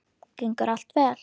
Gengur allt vel?